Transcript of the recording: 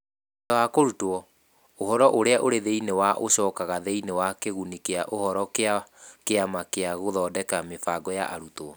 Thutha wa kũrutwo, ũhoro ũrĩa ũrĩ thĩinĩ wa ũcokaga thĩinĩ wa kiguni kĩa ũhoro kĩa Kĩama gĩa Gũthondeka Mĩbango ya Arutwo.